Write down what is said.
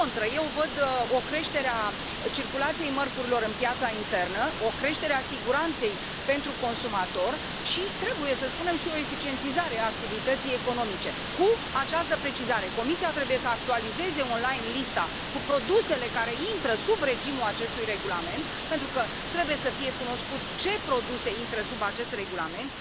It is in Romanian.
Din contră, eu văd o creștere a circulației mărfurilor în piața internă, o creștere a siguranței pentru consumator și, trebuie să spunem, și o eficientizare a activității economice, cu această precizare Comisia trebuie să actualizeze online lista cu produsele care intră sub regimul acestui regulament pentru că trebuie să fie cunoscut ce produse intră sub acest regulament.